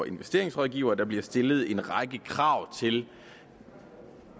investeringsrådgivere der bliver stillet en række krav til